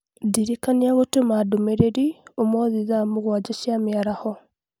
Ndĩrikania gũtũma ndũmĩrĩri ũmũthĩ thaa mũgwanja cia mĩaraho